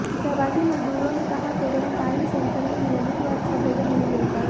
प्रवासी मजदूरों ने कहा करोनटांइन सेंटर में नियमित व अच्छा भोजन नहीं मिलता है